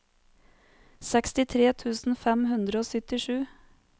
sekstitre tusen fem hundre og syttisju